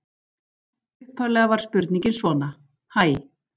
Upphaflega var spurningin svona: Hæ.